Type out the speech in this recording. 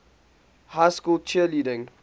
high school cheerleading